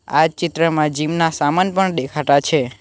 આ ચિત્રમાં જીમ ના સામાન પણ દેખાતા છે.